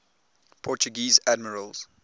portuguese admirals